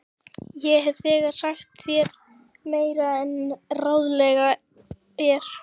Ég hef þegar sagt þér meira en ráðlegt er.